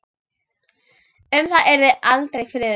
Um það yrði aldrei friður!